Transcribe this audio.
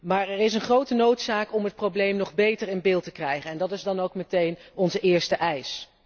Maar er is een grote noodzaak om het probleem nog beter in beeld te krijgen en dat is dan ook meteen onze eerste eis.